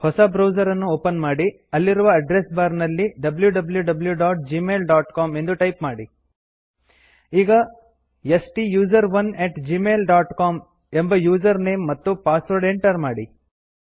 ಹೊಸ ಬ್ರೌಸರ್ ಅನ್ನು ಓಪನ್ ಮಾಡಿ ಅಲ್ಲಿರುವ ಅಡ್ರೆಸ್ ಬಾರ್ ನಲ್ಲಿ wwwgmailcom ಎಂದು ಟೈಪ್ ಮಾಡಿ ಈಗ ಸ್ಟುಸೆರೋನ್ ಅಟ್ ಜಿಮೇಲ್ ಡಾಟ್ ಸಿಒಎಂ ಎಂಬ ಯೂಸರ್ ನೇಮ್ ಮತ್ತು ಪಾಸ್ವರ್ಡ್ ಎಂಟರ್ ಮಾಡಿ